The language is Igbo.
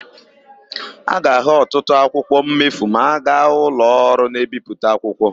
A ga-ahụ ọtụtụ akwụkwọ mmefu ma aga ụlọọrụ na-ebipụta akwụkwọ.